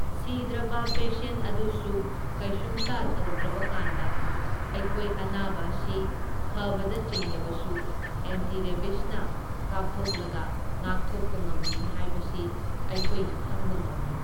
ꯁꯤꯗ꯭ꯔꯕ ꯄꯦꯁꯦꯟ ꯑꯗꯨꯁꯨ ꯀꯩꯁꯨꯝꯇ ꯇꯧꯗ꯭ꯔꯕꯀꯥꯟꯗ ꯑꯩꯈꯣꯏ ꯑꯅꯥꯕ ꯑꯁꯤ ꯐꯕꯗ ꯆꯤꯡꯂꯕꯁꯨ ꯑꯦꯟꯇꯤ ꯔꯦꯕꯤꯁꯅ ꯀꯥꯞꯊꯣꯛꯂꯒ ꯉꯥꯛꯊꯣꯛꯄ ꯉꯝꯃꯤ ꯍꯥꯏꯕꯁꯤ ꯑꯈꯣꯏꯅ ꯈꯪꯕ ꯉꯝꯃꯤ꯫